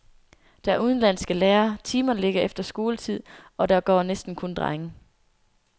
Der er udenlandske lærere, timerne ligger efter skoletid, og der går næsten kun drenge.